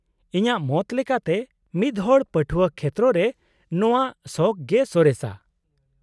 -ᱤᱧᱟᱹᱜ ᱢᱚᱛ ᱞᱮᱠᱟᱛᱮ ᱢᱤᱫᱦᱚᱲ ᱯᱟᱹᱴᱷᱣᱟᱹ ᱠᱷᱮᱛᱨᱚ ᱨᱮ ᱱᱚᱶᱟ ᱥᱚᱠᱷ ᱜᱮ ᱥᱚᱨᱮᱥᱟ ᱾